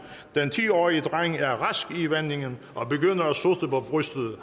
den ti årige dreng er rask i vendingen og begynder at sutte på brystet